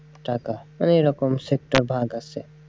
টাকা মানে এরকম sector ভাগ আসে।